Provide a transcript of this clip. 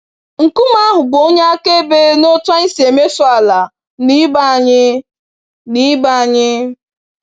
Nkume ahụ bụ onye akaebe n'otú anyị si emeso ala na ibe anyị. na ibe anyị.